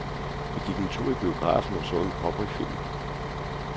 Vi gik en tur i biografen og så en cowboyfilm.